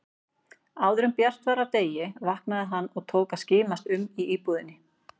Áðuren bjart var af degi vaknaði hann og tók að skimast um í íbúðinni.